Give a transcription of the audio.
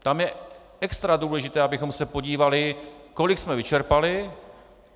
Tam je extra důležité, abychom se podívali, kolik jsme vyčerpali.